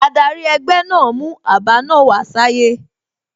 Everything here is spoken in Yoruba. Adari egbe naa mu aba naa wa saye